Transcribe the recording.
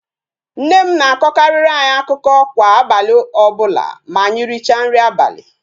Nne m na-akọkarịrị anyị akụkọ kwa abalị ọbụla ma anyị richa nri abalị